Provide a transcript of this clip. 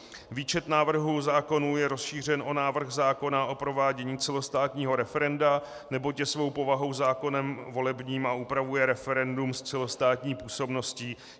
Výčet návrhů zákonů je rozšířen o návrh zákona o provádění celostátního referenda, neboť je svou povahou zákonem volebním a upravuje referendum s celostátní působností.